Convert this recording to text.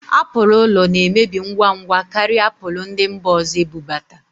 Apụl ụlọna-emebi ngwa ngwa karịa apụl ndị mba ọzọ ebubata